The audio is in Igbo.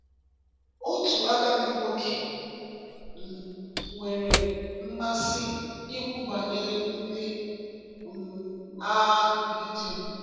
Otu agadi nwoke um nwere mmasị ikwu banyere ndị um agha Gidiọn.